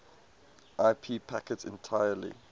ip packets entirely